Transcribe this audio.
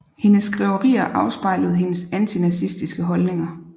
Hendes skriverier afspejlede hendes antinazistiske holdninger